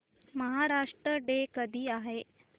Maharashtra day कधी आहे